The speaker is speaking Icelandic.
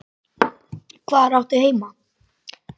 Hvar áttu heima?